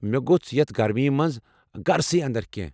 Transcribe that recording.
مےٚ گۄژھ یتھ گرمی مَنٛز گرَسٕے اندر کینٛہہ۔